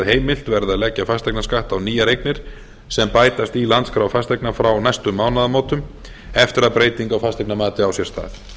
að heimilt verði að leggja fasteignaskatt á nýjar eignir sem bætast í landskrá fasteigna frá næstu mánaðamótum eftir að breyting á fasteignamati á sér stað